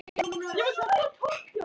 Eyjakonur í undanúrslit bikarsins